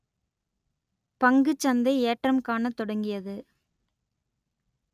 பங்கு சந்தை ஏற்றம் காணத் தொடங்கியது